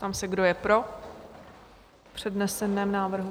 Ptám se, kdo je pro přednesený návrh?